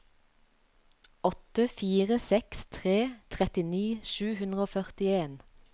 åtte fire seks tre trettini sju hundre og førtien